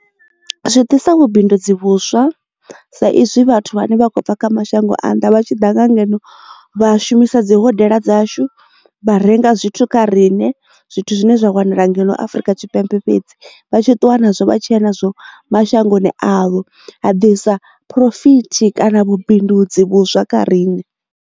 Zwi ḓisa vhubindudzi vhuswa sa izwi vhathu vhane vha khou bva kha mashango a nnḓa vha tshiḓa nga ngeno vha shumisa dzi hodela dzashu vha renga zwithu kha riṋe zwithu zwine zwa wanala ngeno afrika tshipembe fhedzi vha tshi ṱuwa na zwo vha tshiya nazwo mashangoni avho a ḓi sa phurofiti kana vhubindudzi vhuswa kha riṋe.